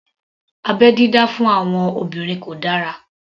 Abẹ́ dídá fún àwọn obìnrin kò dára